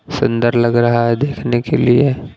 सुंदर लग रहा है देखने के लिए--